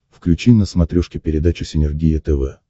включи на смотрешке передачу синергия тв